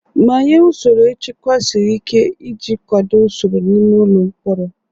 Manye usoro nchekwa siri ike iji kwado usoro n'ime ụlọ mkpọrọ.